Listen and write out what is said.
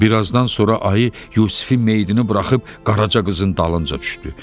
Bir azdan sonra ayı Yusifin meyidini buraxıb Qaraca qızın dalınca düşdü.